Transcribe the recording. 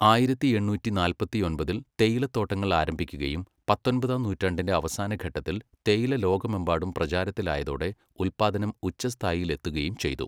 ആയിരത്തി എണ്ണൂറ്റി നാല്പത്തിയൊൻപതിൽ തേയിലത്തോട്ടങ്ങൾ ആരംഭിക്കുകയും പത്തൊൻപതാം നൂറ്റാണ്ടിന്റെ അവസാനഘട്ടത്തിൽ തേയില ലോകമെമ്പാടും പ്രചാരത്തിലായതോടെ ഉത്പാദനം ഉച്ചസ്ഥായിയിലെത്തുകയും ചെയ്തു.